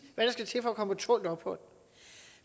hvad der skal til for at komme på tålt ophold